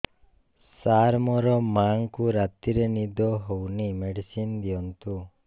ସାର ମୋର ମାଆଙ୍କୁ ରାତିରେ ନିଦ ହଉନି ମେଡିସିନ ଦିଅନ୍ତୁ